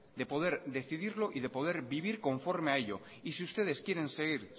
de poder decidirlo y de poder vivir conforme a ello y si ustedes quieren seguir